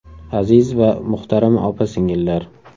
Aziz va muhtarama opa-singillar!